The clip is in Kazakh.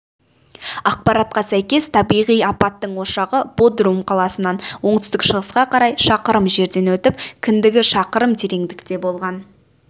ақпаратқа сәйкес табиғи апаттың ошағы бодрум қаласынан оңтүстік-шығысқа қарай шақырым жерден өтіп кіндігі шақырым тереңдікте болған